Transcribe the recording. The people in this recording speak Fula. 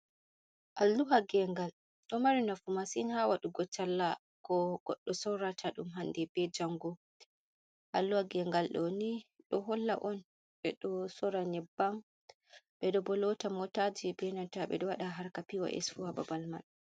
Allu’ha gengal ɗo mari nafu masin ha waɗugo talla ko goɗɗo sorata ɗum hande be jango. Alluha gengal ɗoni ɗo holla on ɓe ɗo sorra nyebbam, ɓe ɗo bo lota motaji, be nanta ɓe ɗo waɗa har ka p, o, s fu ha babal man.